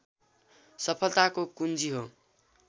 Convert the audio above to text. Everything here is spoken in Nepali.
सफलताको कुञ्जी हो